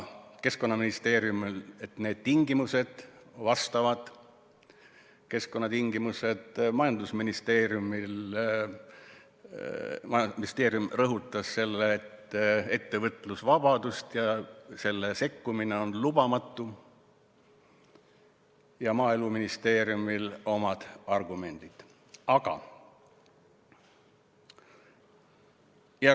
Keskkonnaministeeriumil oli see, et keskkonnatingimused on vastavad, majandusministeerium rõhutas jälle ettevõtlusvabadust ja seda, et sellesse sekkumine on lubamatu, Maaeluministeeriumil olid omad argumendid.